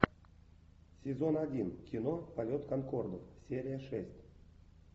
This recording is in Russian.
сезон один кино полет конкорда серия шесть